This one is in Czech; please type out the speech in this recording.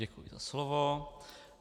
Děkuji za slovo.